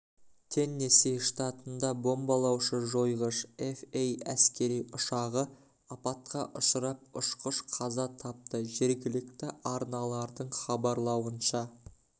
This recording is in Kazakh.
теннесси штатында бомбалаушы жойғыш эф эй әскери ұшағы апатқа ұшырап ұшқыш қаза тапты жергілікті арналардың хабарлауынша